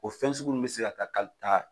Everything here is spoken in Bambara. O fɛn sugu nunnu be se ka ka taa